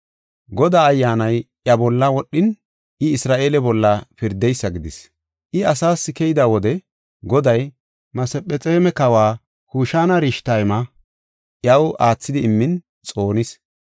Godaa Ayyaanay iya bolla wodhin, I Isra7eele bolla pirdeysa gidis. I olas keyida wode Goday Masephexoome kawa Kushan-Rishatayma iyaw aathidi immin xoonis.